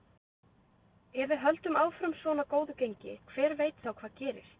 Ef við höldum áfram svona góðu gengi, hver veit þá hvað gerist?